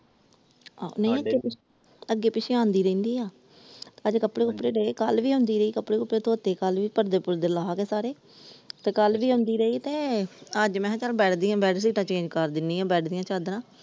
ਆ ਨਹੀਂ ਅੱਗੇ ਪਿੱਛੇ ਆਉਂਦੀ ਰਹਿੰਦੀ ਆ ਅੱਜ ਕੱਪੜੇ ਕੁਪੜੇ ਦਏ ਕੱਲ ਵੀ ਆਉਂਦੀ ਰਹੀ ਕੱਪੜੇ ਕੁਪੜੇ ਧੋਤੇ ਕੱਲ ਵੀ ਪਰਦੇ ਪੂਰਦੇ ਲਾਹਕੇ ਸਾਰੇ ਤੇ ਕੱਲ ਵੀ ਆਉਦੀ ਰਹੀ ਤੇ ਅੱਜ ਮੈ ਕਿਹਾ ਚੱਲ ਬੈਡ ਦੀਆ ਬੇਡਸ਼ੀਤ ਕਰ ਦਿੰਦੀ ਆ ਬੈਡ ਦੀਆ ਚਾਦਰਾ ।